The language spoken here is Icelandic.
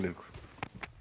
Eiríkur